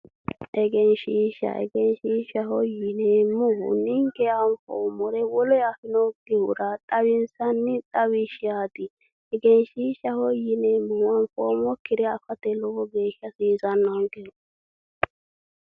Egenshiishsha egenshiishsha yineemmo woyite ninke anfoommore wole afinokkihura xawinsanni xawishshaati egenshiishshaho yineemmohu anfoommokkire afate lowo geeshsha hasiisannonke.